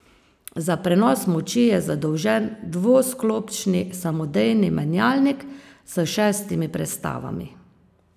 Za prenos moči je zadolžen dvosklopčni samodejni menjalnik s šestimi prestavami.